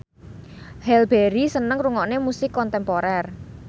Halle Berry seneng ngrungokne musik kontemporer